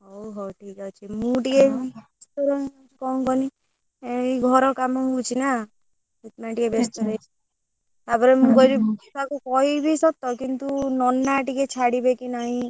ହଉ ହଉ ଠିକ ଅଛି ମୁଁ ଟିକେ ବେସ୍ତ ରହୁଛି କଣ କହନି ଏଇ ଘର କାମ ହଉଛି ନା ସେଥି ପାଇଁ ଟିକେ ବେସ୍ତ ରହି ଯାଉଛି ତାପରେ ମୁଁ କହିଲି ବର୍ଷା କୁ କହିବି ସତ କିନ୍ତୁ ନନା ଟିକେ ଛାଡ଼ିବେ କି ନାହିଁ।